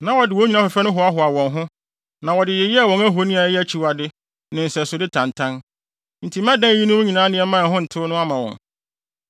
Na wɔde wɔn nnwinne afɛfɛ no hoahoa wɔn ho, na wɔde yeyɛɛ wɔn ahoni a ɛyɛ akyiwade ne nsɛsode tantan. Enti mɛdan eyinom nneɛma a ho ntew no ama wɔn.